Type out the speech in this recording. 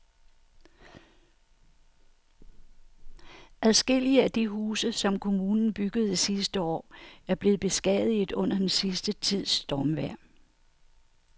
Adskillige af de huse, som kommunen byggede sidste år, er blevet beskadiget under den sidste tids stormvejr.